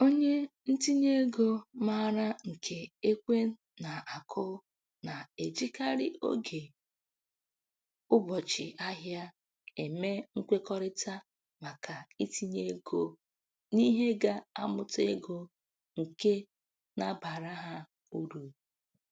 Onye ntinyeego maara nke ekwe na-akụ na-ejikarị oge ụbọchị-ahịa eme nkwekọrịta maka itinye ego n'ihe ga-amụta ego nke na-abara ha uru.